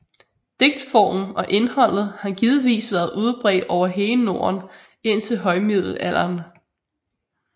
Digtformen og indholdet har givetvis været udbredt over hele Norden indtil højmiddelalderen